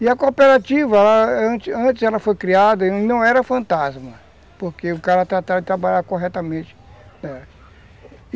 E a cooperativa, antes antes ela foi criada e não era fantasma, porque o cara tratava de trabalhar corretamente.